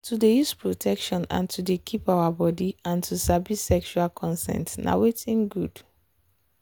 to dey use protection and to dey keep our body and to sabi sexual consent na watin good.